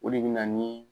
O de bɛ na ni